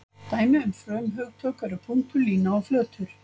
Dæmi um frumhugtök eru punktur, lína og flötur.